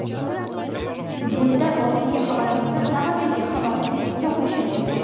Bundan oldingi xabarimizni navbatdagi xabar izohlashi mumkin.